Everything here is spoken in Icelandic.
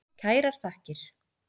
Kærar þakkir.